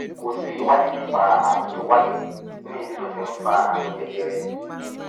kò sí ìwádìí nípa ààrùn tó wáyé ní ibi tó ti ń fa àrùn jẹjẹrẹ